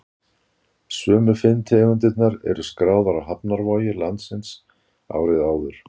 Sömu fimm tegundirnar voru skráðar á hafnarvogir landsins árið áður.